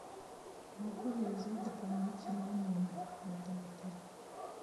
могу ли я взять дополнительный номер в этом отеле